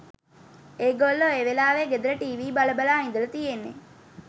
එගොල්ලො ඒවෙලාවෙ ගෙදර ටීවී බල බලා ඉදල තියෙන්නෙ